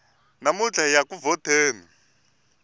namuntlha hiya ku vhoteni